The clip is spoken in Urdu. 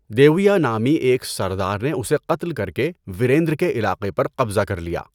دیویا نامی ایک سردار نے اسے قتل کر کے وریندر کے علاقے پر قبضہ کر لیا۔